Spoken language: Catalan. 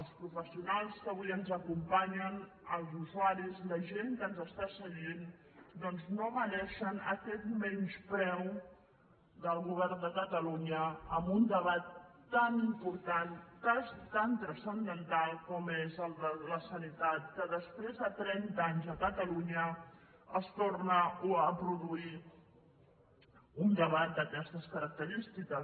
els professionals que avui ens acompanyen els usuaris la gent que ens està seguint doncs no mereixen aquest menyspreu del govern de catalunya en un debat tan important tan transcendental com és el de la sanitat que després de trenta anys a catalunya es torna a produir un debat d’aquestes característiques